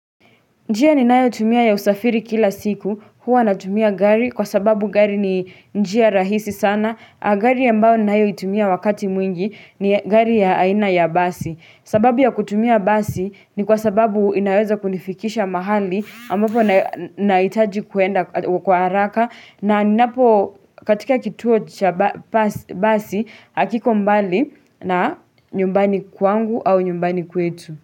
Njia ninayo tumia ya usafiri kila siku huwa natumia gari kwa sababu gari ni njia rahisi sana Gari ambao nayo itumia wakati mwingi ni gari ya aina ya basi sababu ya kutumia basi ni kwa sababu inaweza kunifikisha mahali ambapo nahitaji kuenda kwa haraka na ninapo katika kituo basi hakiko mbali na nyumbani kwangu au nyumbani kwetu.